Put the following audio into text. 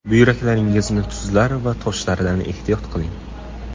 Buyraklaringizni tuzlar va toshlardan ehtiyot qiling!